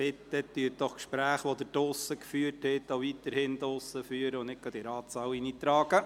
Bitte führen Sie die Gespräche, die Sie vorher draussen geführt haben, weiterhin draussen, und tragen Sie diese nicht in den Ratssaal.